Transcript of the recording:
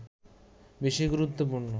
বেশি গুরুত্বপূর্ণ